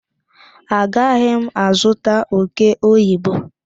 Agaghị m azụta oke oyibo.